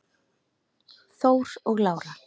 Þór og Lára.